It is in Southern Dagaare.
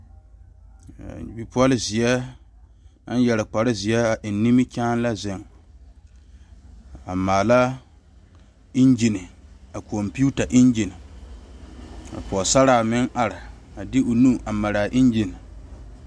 Bipole ziɛ naŋ yeere kpare ziɛ a e nimikyaane la zeŋ a maale engimee konpita engi ka pɔgesera meŋ are a de o nu a mara engi.